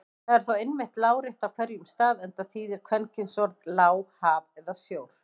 Það er þó einmitt lárétt á hverjum stað enda þýðir kvenkynsorðið lá haf eða sjór.